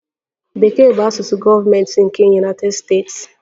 Bekee bụ asụsụ gọọmentị nke United States.